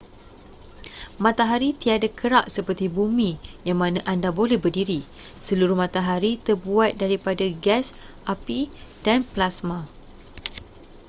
matahari tiada kerak seperti bumi yang mana anda boleh berdiri seluruh matahari terbuat daripada gas api dan plasma